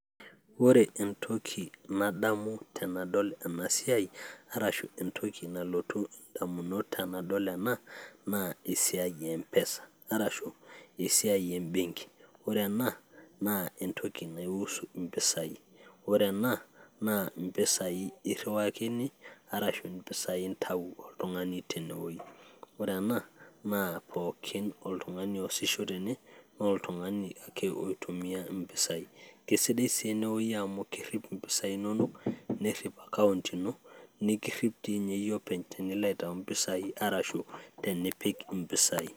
ore entoki nadamu tenadol ena siai arashu entoki nalotu indamunot tenadol ena naa esiai e mpesa arashu esiai embenki ore ena naa entoki naiusu impisai ore ena naa impisai irriwakini arashu impisai intau oltung'ani tenewoi ore ena naa pookin oltung'ani oosisho tene naa oltung'ani ake oitumia impisai, kisidai sii enewoi amu kerrip impisai inonok nerrip account nikirrip ti ninye yie openy tinilo aitau arashu tenipik impisai.